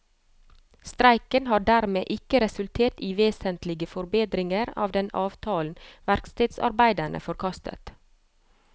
Streiken har dermed ikke resultert i vesentlige forbedringer av den avtalen verkstedarbeiderne forkastet.